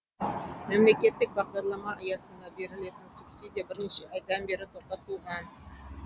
мемлекеттік бағдарлама аясында берілетін субсидия бірнеше айдан бері тоқтатылған